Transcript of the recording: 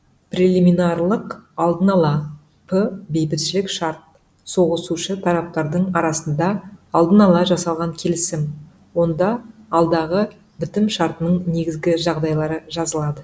прелиминарлық алдын ала п бейбітшілік шарт соғысушы тараптардың арасында алдын ала жасалған келісім онда алдағы бітім шартының негізгі жағдайлары жазылады